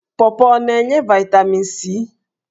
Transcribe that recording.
Pọọpọọ ọ na-enye vaịtamin c?